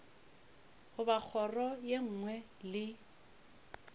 goba kgoro ye nngwe le